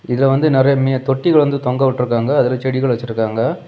இத வந்து நிறைய மி தொட்டிகள் வந்து தொங்க விட்டுருக்காங்க அதுல செடிகள் வச்சிருக்காங்க.